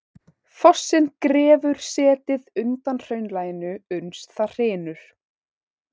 Fossinn grefur setið undan hraunlaginu uns það hrynur.